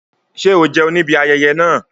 Ṣé o kò jẹun níbi ayẹyẹ náà?